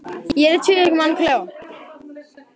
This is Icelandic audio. Ég er einn í tveggja manna klefa.